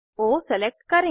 ओ select करें